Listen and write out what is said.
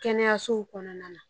Kɛnɛyasow kɔnɔna na